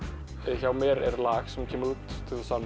hjá mér er lag sem kemur út tuttugasta